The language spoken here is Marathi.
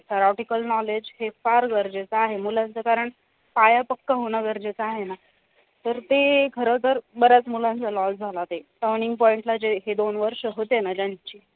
theorotical knowledge हे फार गरजेचे आहे मुलांच कारण पाया पक्क होणं गरजेच आहे ना तर ते खरं तर बऱ्याच मुलांचा loss झाला ते turning point जे हे दोन वर्ष होते ना ज्यांची